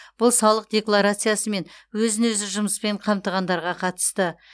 бұл салық декларациясы мен өзін өзі жұмыспен қамтығандарға қатысты